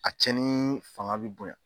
A cɛnni fanga bɛ bonya.